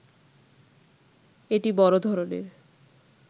এটি বড় ধরণের